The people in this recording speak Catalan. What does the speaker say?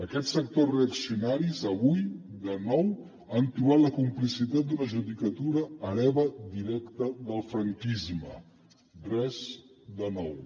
aquests sectors reaccionaris avui de nou han trobat la complicitat d’una judicatura hereva directa del franquisme res de nou